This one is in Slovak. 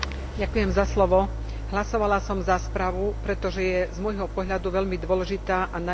Hlasovala som za správu, pretože je z môjho pohľadu veľmi dôležitá a nanajvýš aktuálna.